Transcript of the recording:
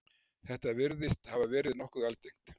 Þetta virðist hafa verið nokkuð algengt.